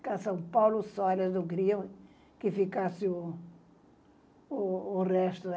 Ficar São Paulo só, eu não queria que ficasse o o o resto.